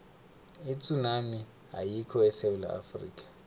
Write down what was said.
itsunami ayikho esewula afrika